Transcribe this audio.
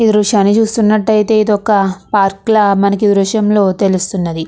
ఈ దృశ్యాన్ని చూస్తున్నట్లయితే ఇది ఒక పార్కులా మనకి ఈ దృశ్యంలో తెలుస్తుంది.